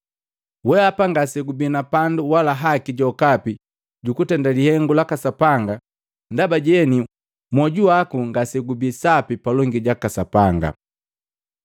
Wehapa ngase gubii na pandu wala haki jokapi jukutenda lihengu laka Sapanga ndaba jeni mwoju waku ngasegubii sapi palongi jaka Sapanga.